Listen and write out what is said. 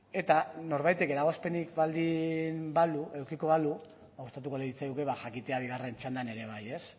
eta norbaitek eragozpenik edukiko balu gustatuko litzaiguke jakitea bigarren txandan ere bai ez